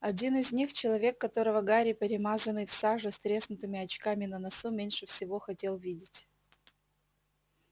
один из них человек которого гарри перемазанный в саже с треснувшими очками на носу меньше всего хотел видеть